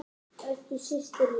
Elsku Systa mín.